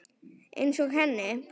Einsog henni.